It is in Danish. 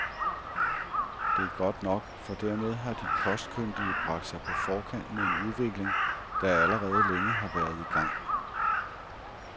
Det er godt nok, for dermed har de kostkyndige bragt sig på forkant med en udvikling, der allerede længe har været i gang.